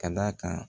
Ka d'a kan